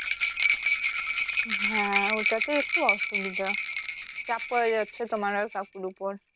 হ্যা ওটাতে একটু অসুবিধা চাপ পরে যাচ্ছে তোমার আর কাকুর উপর